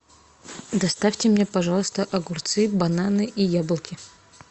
доставьте мне пожалуйста огурцы бананы и яблоки